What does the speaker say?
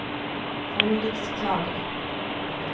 forliksklage